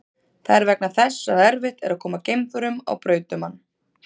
Það er vegna þess að erfitt er að koma geimförum á braut um hann.